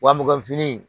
Wa mugan fini in